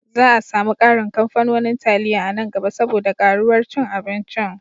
Za a sami ƙarin kamfanonin taliya a nan gaba saboda ƙaruwar cin abincin.